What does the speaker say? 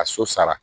A so sara